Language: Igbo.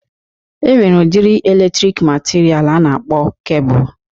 E nwere udiri elektriki matiria a na-akpọ kebul